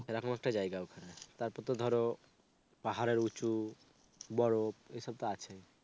এ রকম একটা জায়গা ওখানে. তারপর তো ধরো পাহাড়ের উঁচু, বরফ এই সব তো আছেই.